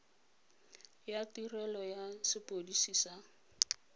ya tirelo ya sepodisi sa